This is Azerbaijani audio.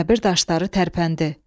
Qəbir daşları tərpəndi.